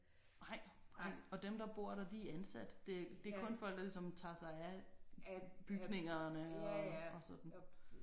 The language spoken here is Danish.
Nej og dem der bor der de er ansat. Det det er kun folk der ligesom tager sig af bygningerne og og sådan